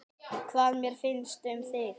Hvað mér finnst um þig?